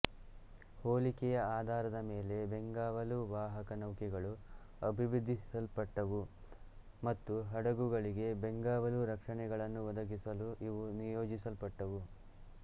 ಹೋಲಿಕೆಯ ಆಧಾರದ ಮೇಲೆ ಬೆಂಗಾವಲು ವಾಹಕ ನೌಕೆಗಳು ಅಭಿವೃದ್ಧಿಪಡಿಸಲ್ಪಟ್ಟವು ಮತ್ತು ಹಡಗುಗಳಿಗೆ ಬೆಂಗಾವಲು ರಕ್ಷಣೆಗಳನ್ನು ಒದಗಿಸಲು ಇವು ನಿಯೋಜಿಸಲ್ಪಟ್ಟವು